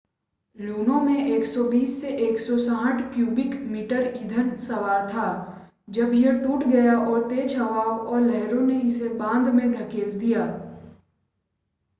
लूनो में 120-160 cubic metre ईंधन सवार था जब यह टूट गया और तेज हवाओं और लहरों ने इसे बांध में धकेल दिया